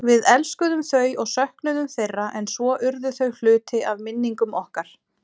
Við elskuðum þau og söknuðum þeirra en svo urðu þau hluti af minningum okkar.